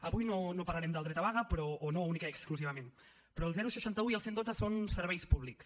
avui no parlarem del dret a vaga o no únicament i exclusivament però el seixanta un i el cent i dotze són uns serveis públics